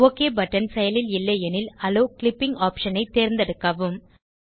okay button செயலில் இல்லை எனில் அலோவ் கிளிப்பிங் optionஐ தேர்ந்தெடுக்கவும்